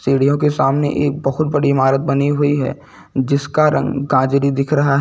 सीढियों के सामने एक बोहोत बड़ी इमारत बनी हुई है जिसका रंग गाजरी दिख रहा है।